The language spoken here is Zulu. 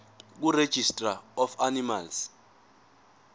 kuregistrar of animals